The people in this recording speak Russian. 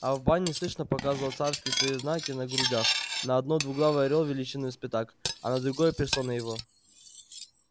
а в бане слышно показывал царские свои знаки на грудях на одной двуглавый орёл величиною с пятак а на другой персона его